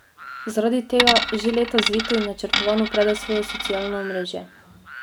Zaradi tega že leta zvito in načrtovano prede svoje socialno omrežje.